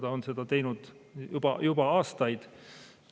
Ta on seda teinud juba aastaid.